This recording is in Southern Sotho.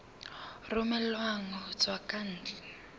romellwang ho tswa ka ntle